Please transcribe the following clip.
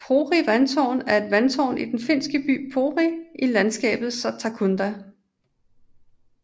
Pori Vandtårn er et vandtårn i den finske by Pori i landskabet Satakunda